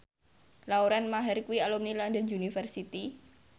Lauren Maher kuwi alumni London University